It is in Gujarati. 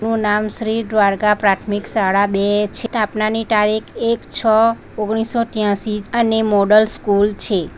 નામ શ્રી દ્વારકા પ્રાથમિક સાળા બે છ સ્થાપનાની ટારિક એક છ ઓગણીસસો ત્યાંસિ અને મોડલ સ્કૂલ છે.